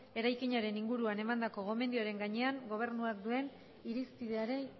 eraikinaren inguruan emandako gomendioaren gainean gobernuak duen irizpideari